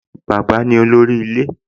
Bàbá ni olórí ilé